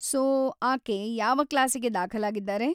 So, ಆಕೆ ಯಾವ ಕ್ಲಾಸಿಗೆ ದಾಖಲಾಗಿದ್ದಾರೆ?